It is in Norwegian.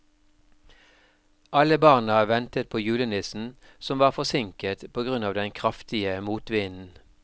Alle barna ventet på julenissen, som var forsinket på grunn av den kraftige motvinden.